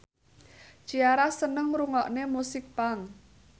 Ciara seneng ngrungokne musik punk